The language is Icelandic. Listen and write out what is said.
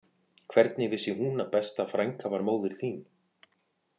Hvernig vissi hún að besta frænka var móðir þín